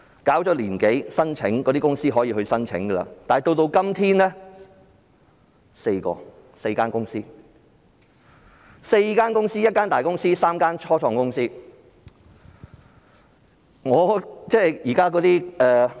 搞了一年多，申請的公司可以申請，但直至今天，只有4間公司，包括一間大公司及3間初創公司。